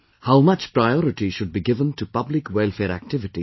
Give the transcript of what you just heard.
How much priority should be given to public welfare activities